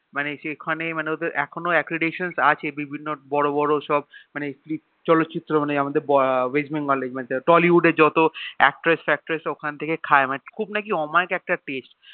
মানে সেখানে এখনো এখনো বিভিন্ন বড় বড় সব মানে চলো চিত্র আমাদের West bengal Tollywood এর যত Actress ফেক্ট্রেস সব ওখান থেকেই খেয়ে খুব নাকি অমাইক একটা Taste